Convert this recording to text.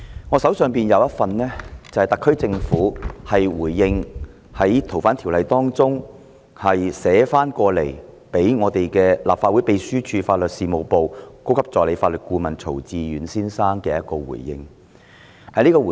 我手上有一份特區政府就《2019年逃犯及刑事事宜相互法律協助法例條例草案》，向立法會秘書處法律事務部高級助理法律顧問曹志遠先生作出的回應。